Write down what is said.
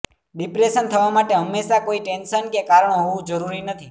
depression થવા માટે હંમેશાં કોઈ ટેન્શન કે કારણ હોવું જરૂરી નથી